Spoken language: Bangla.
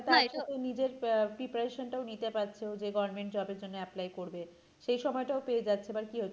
আবার না এটা আহ preparation টাও নিতে পাচ্ছে ও যে government job এর জন্য apply করবে সে সময়টাও পেয়ে যাচ্ছে আবার কি